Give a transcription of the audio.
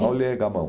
Taule é gamão.